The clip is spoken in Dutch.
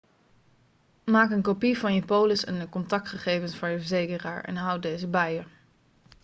maak een kopie van je polis en de contactgegevens van je verzekeraar en houd deze bij je